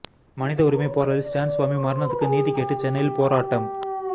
மனித உரிமை போராளி ஸ்டேன் சுவாமி மரணத்துக்கு நீதி கேட்டு சென்னையில் போராட்டம்